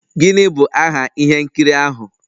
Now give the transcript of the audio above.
Gịnị bụ aha ihe nkiri ahụ?